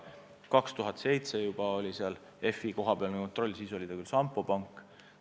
Juba 2007. aastal oli seal FI kohapealne kontroll, siis oli ta küll Sampo Pank.